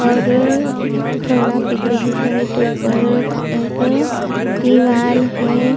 और थोड़ा पीछे के साइड ऊपर एक दीवाल है।